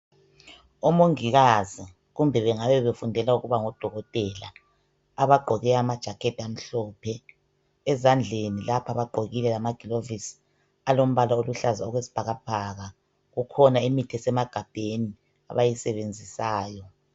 Omongikazi kumbe bengabe befundela ukuba ngodokotela abagqoke amajaketi amhlophe. Ezandleni lapha bagqokile lamagilovisi alombala oluhlaza okwesibhakabhaka. Kukhona imithi esemagabheni abayisebenzisayo.